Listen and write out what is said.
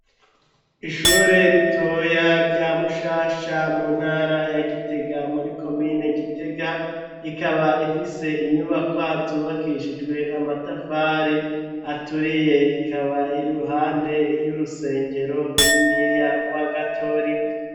Ishure ritoya rya mushasha mu ntara ya gitega muri komine gitega ikaba ifise inyubakwa zubakishijwe amatafari aturiye ikaba irruhande ry'urusengero runiniya rwa gatorika.